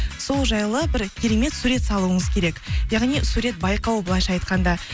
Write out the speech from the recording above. сол жайлы бір керемет сурет салуыңыз керек яғни сурет байқауы былайынша айтқанда